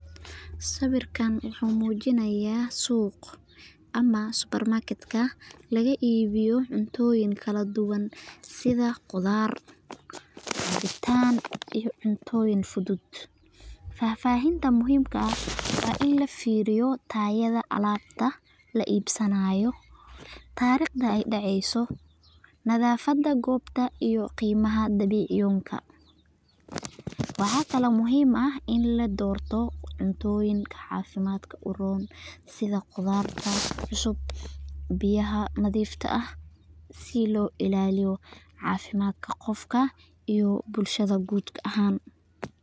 Sawirkan waxu mujinaya ah suuq amah supermarket laga ibiyoh cuntoyin kaladuwan setha quthar cabitaan iyo cunta, futhut fafahinta muhimka aah wa in lafahmoh tayada alabta la ibsanayoh tarqda daceeysoh iyo nathafada koobta dulka, waxakali muhim aah in ladortoh cutoyeen cafimadka u roon setha quratharta cususb si lo ilaliyoh cafimadka iyo bulshada guudka ahaan.